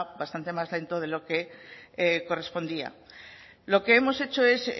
bastante más lento de lo que correspondía lo que hemos hecho es